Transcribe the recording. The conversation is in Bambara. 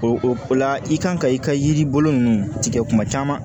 O o la i kan ka i ka yiri bolo ninnu tigɛ kuma caman